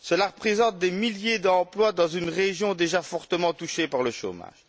Cela représente des milliers d'emplois dans une région déjà fortement touchée par le chômage.